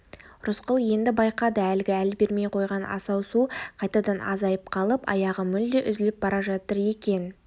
рысқұл енді байқады әлгі әл бермей қойған асау су қайтадан азайып қалып аяғы мүлде үзіліп бара жатыр екен